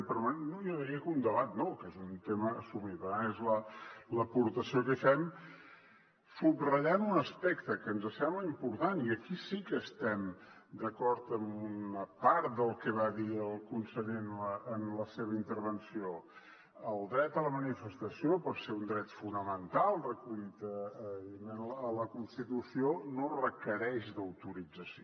però bé jo diria que un debat no que és un tema assumit per tant és l’aportació que hi fem subratllant un aspecte que ens sembla important i aquí sí que estem d’acord amb una part del que va dir el conseller en la seva intervenció el dret a la manifestació perquè és un dret fonamental recollit evidentment a la constitució no requereix autorització